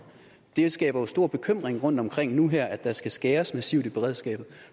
det skaber jo stor bekymring rundtomkring nu her at der skal skæres massivt i beredskabet